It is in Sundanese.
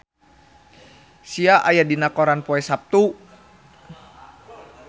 Sia aya dina koran poe Saptu